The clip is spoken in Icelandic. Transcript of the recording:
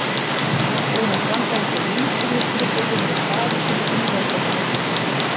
Búinn að standa eins og límdur við skrifborðið með sparigrísinn í höndunum og hlusta.